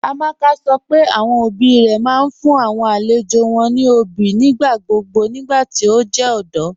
Amaka sọ́ pé awọn ọbí rẹ̀ máa n fún awọn alẹ̀jọ́ wọn ní ọbí nigbàgbogbo nigbàtí o jẹ ọdọ.